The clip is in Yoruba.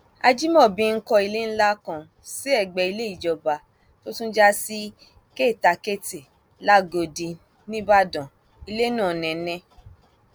ajimobi ń kọ ilé ńlá kan sí ẹgbẹ ilé ìjọba tó tún já sí kèétakétì làgọdì nìbàdàn ilé náà nẹtẹ